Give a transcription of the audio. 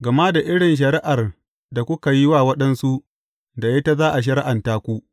Gama da irin shari’ar da kuka yi wa waɗansu, da ita za a shari’anta ku.